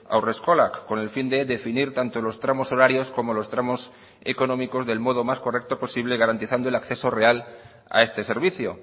haurreskolak con el fin de definir tanto los tramos horarios como los tramos económicos del modo más correcto posible garantizando el acceso real a este servicio